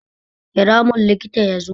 Kira mun likita yazo